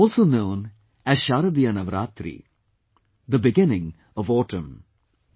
This is also known as Sharadiya Navratri, the beginning of autumn